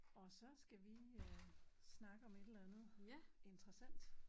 Og så skal vi øh snakke om et eller andet interessant